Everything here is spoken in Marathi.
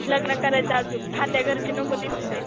लग्न करायचं आजून खात्या घरची नको दिसूदे.